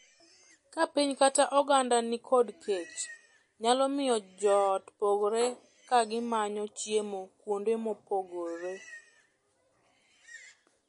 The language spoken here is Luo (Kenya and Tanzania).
Ka piny kata oganda ni kod kech nyalo miyo joot pogre ka gimanyo chiemo kuonde mopogore.